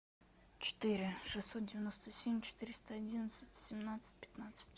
четыре шестьсот девяносто семь четыреста одиннадцать семнадцать пятнадцать